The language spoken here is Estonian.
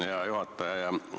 Hea juhataja!